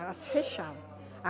Elas fechavam.